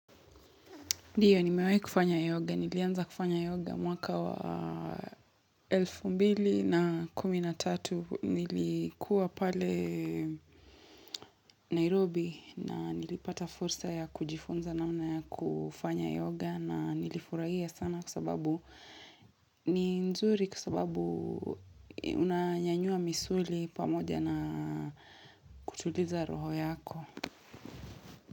Ndiyo nimewahi kufanya yoga, nilianza kufanya yoga mwaka wa elfu mbili na kumi na tatu nilikuwa pale Nairobi na nilipata fursa ya kujifunza namna ya kufanya yoga na nilifurahia sana kwa sababu ni nzuri kwa sababu unanyanyua misuli pamoja na kutuliza roho yako.